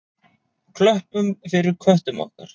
Klöppum fyrir köttum okkar!